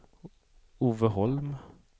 Ove Holm